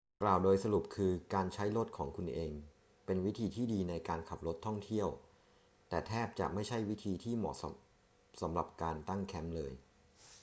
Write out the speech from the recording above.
กล่าวโดยสรุปคือการใช้รถของคุณเองเป็นวิธีที่ดีในการขับรถท่องเที่ยว แต่แทบจะไม่ใช่วิธีที่เหมาะสมสำหรับการ ตั้งแคมป์ เลย